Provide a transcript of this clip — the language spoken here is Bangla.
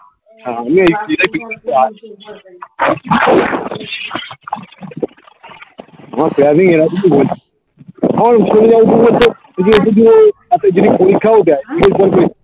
আমার এতো দিনে পরীক্ষা ও দেয়